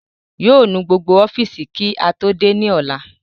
Yóò nu gbogbo ọ́fìsì kí á tó dé ní ọ̀la